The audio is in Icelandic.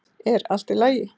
er allt í lagi